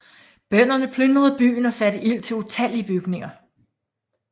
Bønderne plyndrede byen og satte ild til utallige bygninger